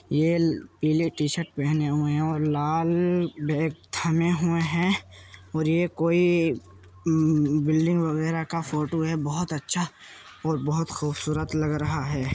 ये पीले टीशर्ट पहने हुए हैं और लाल बैग थामे हुए हैं और ये कोई बिल्डिंग वगैरह का फोटो है। बहुत अच्छा और बहुत खूबसूरत लग रहा है।